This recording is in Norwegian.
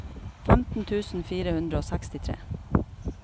femten tusen fire hundre og sekstitre